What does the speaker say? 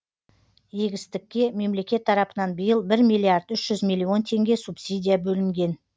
егістікке мемлекет тарапынан биыл бір миллиард үш жүз миллион теңге субсидия бөлінген